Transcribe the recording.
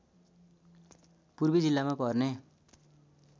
पूर्वी जिल्लामा पर्ने